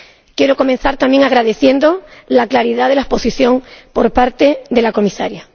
Quiero comenzar también agradeciendo la claridad de la exposición por parte de la Comisaria.